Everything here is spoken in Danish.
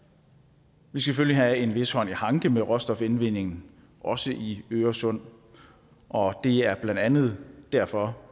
vi skal selvfølgelig have en vis hånd i hanke med råstofindvindingen også i øresund og det er blandt andet derfor